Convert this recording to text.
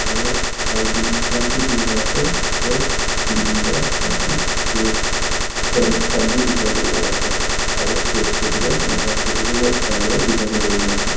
aru lightings khan bi dine ase aru ceiling te moi khan roof fans khan bi dikhiwole pai ase aru stage toh hoi le naga traditional style ra design kuri ne ase.